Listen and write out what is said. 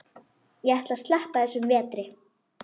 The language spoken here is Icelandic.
Ég ætla að sleppa þessum vetri.